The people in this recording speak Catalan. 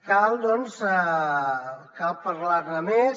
cal doncs parlar ne més